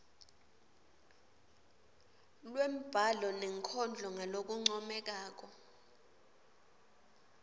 lwembhalo nenkondlo ngalokuncomekako